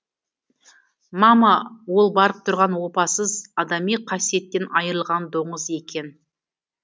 мама ол барып тұрған опасыз адами қасиеттен айырылған доңыз екен